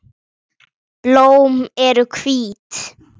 Blóm eru hvít.